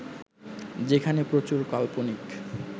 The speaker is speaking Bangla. যেখানে প্রচুর কাল্পনিক